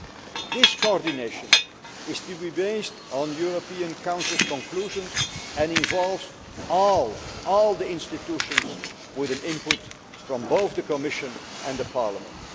This coordination is to be based on the European Council's conclusions and involves all the institutions with an input from both the Commission and Parliament.